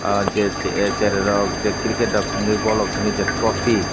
o je cherai rok je cricket rok tongoi boll rok tongoi je tropy.